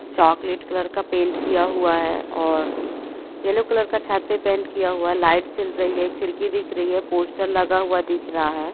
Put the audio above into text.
Chocolate colour का paint किया हुआ है और येलो कलर का छत पे पेंट किया हुआ है लाइट जल रही है खिड़की दिख रही है पोस्टर लगा हुआ दिख रहा हैं ।